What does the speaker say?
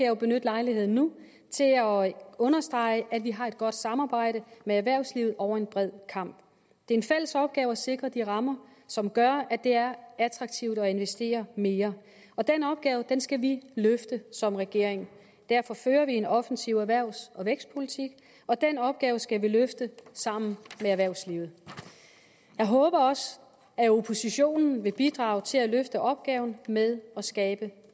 jo benytte lejligheden nu til at understrege at vi har et godt samarbejde med erhvervslivet over en bred kam det er en fælles opgave at sikre de rammer som gør at det er attraktivt at investere mere og den opgave skal vi løfte som regering derfor fører vi en offensiv erhvervs og vækstpolitik og den opgave skal vi løfte sammen med erhvervslivet jeg håber også at oppositionen vil bidrage til at løfte opgaven med at skabe